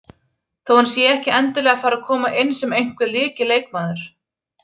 Þó hann sé ekki endilega að fara að koma inn sem einhver lykilleikmaður.